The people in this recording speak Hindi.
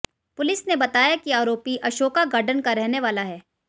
पुलिस ने बताया कि आरोपी अशोका गार्डन का रहने वाला है